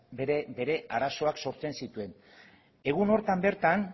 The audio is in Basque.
bere arazoak sortzen zituen egun horretan bertan